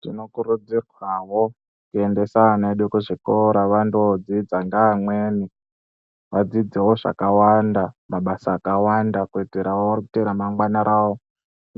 Tinokurudzirwawo kuendesa ana edu kuzvikora vandoodzidza ngeamweni vadzidzewo zvakawanda mabasa akawanda kuitirawo kuti ramangwana rawo